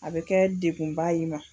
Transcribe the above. A bɛ kɛ degkunba y'i ma.